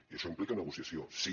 i això implica negociació sí